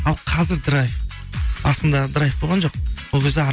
ал қазір драйв басында драйв болған жоқ ол кезде